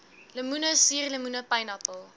lemoene suurlemoene pynappel